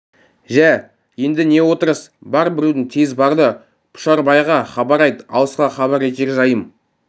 жә енді не отырыс бар біреуің тез бар да пұшарбайға хабар айт алысқа хабар етер жайым